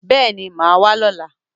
Yes, I will be coming tomorrow